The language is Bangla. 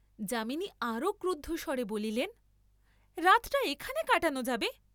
যামিনী আরও ক্রুদ্ধ স্বরে বলিলেন রাতটা এখানে কাটান যাবে!